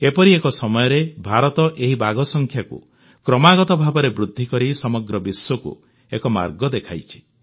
ଏପରି ସମୟରେ ଭାରତ ଏହି ବାଘ ସଂଖ୍ୟାକୁ କ୍ରମାଗତ ଭାବରେ ବୃଦ୍ଧିକରି ସମଗ୍ର ବିଶ୍ୱକୁ ଏକ ମାର୍ଗ ଦେଖାଇଛି